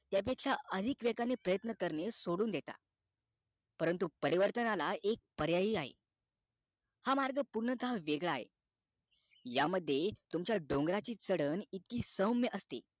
त्या पेक्षा अधिक वेगाने प्रयत्न कारने सोडून देता परंतु परिवर्तनाला एक पर्याही आहे हा मार्ग पूर्णतः वेगळा आहे ह्या मध्ये तुमच्या डोंगराची चढण इतकी सौम्य असते